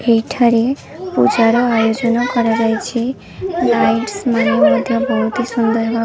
ଏଇଠାରେ ପୂଜା ର ଆୟୋଜନ କରାଯାଇଛି ଲାଇଟ ସ ମାନେ ମଧ୍ୟ ବହୁତ ସୁନ୍ଦର ଭାବେ --